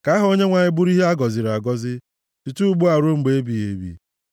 Ka aha Onyenwe anyị bụrụ ihe a gọziri agọzi site ugbu a ruo mgbe ebighị ebi.